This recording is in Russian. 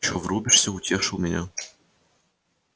чё врубишься утешил меня